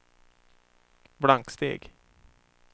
blanksteg